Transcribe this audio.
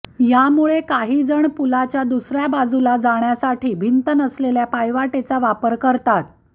यामुळे काहीजण पुलाच्या दुसऱ्या बाजूला जाण्यासाठी भिंत नसलेल्या पायवाटेचा वापर करतात